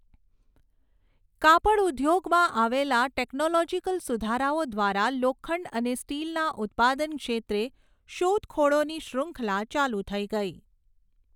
કાપડ ઉધોગમાં આવેલા ટેક્નોલોજીકલ સુધારાઓ દ્વારા લોખંડ અને સ્ટીલના ઉત્પાદન ક્ષેત્રે શોધખોળોની શૃંખલા ચાલુ થઈ ગઈ.